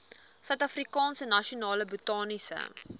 suidafrikaanse nasionale botaniese